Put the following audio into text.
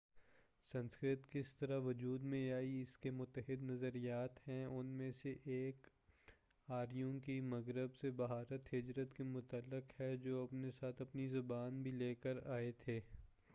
سنسکرت کس طرح وجود میں آئی اس کے متعدد نظریات ہیں ان میں سے ایک آریوں کی مغرب سے بھارت ہجرت کے متعلق ہے جو اپنے ساتھ اپنی زبان بھی لے کر آئے تھے